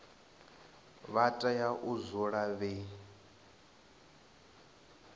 vha tea u dzula vhe